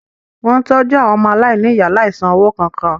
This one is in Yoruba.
Wó̩n ń tọ́jú àwọn ọmọaláìníìyá láìsan owó kankan